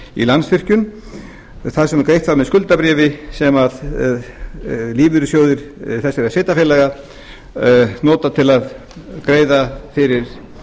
í landsvirkjun þar sem greitt var með skuldabréfi sem lífeyrissjóðir þessara sveitarfélaga nota til að greiða fyrir